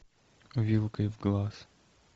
вилкой в глаз